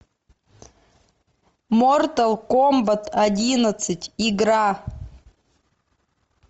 мортал комбат одиннадцать игра